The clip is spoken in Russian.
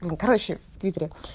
ну короче в твиттере